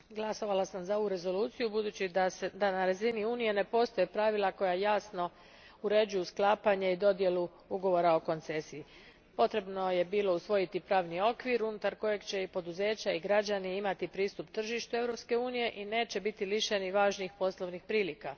Gospodine predsjedavajući, glasovala sam za ovu Rezoluciju budući da na razini Unije ne postoje pravila koja jasno uređuju sklapanje i dodjelu ugovora o koncesiji. Potrebno je bilo usvojiti pravni okvir unutar kojeg će i poduzeća i građani imati pristup tržištu Europske unije i neće biti lišeni važnih poslovnih prilika.